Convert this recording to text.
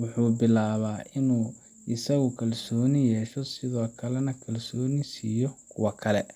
wuxuu bilaabaa in uu isagu kalsooni yeesho sidoo kalena kalsooni siiyo kuwa kale.